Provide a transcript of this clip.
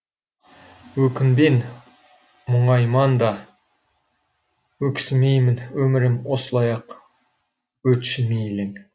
өкінбен мұңайман да өксімеймін өмірім осылай ақ өтші мейлің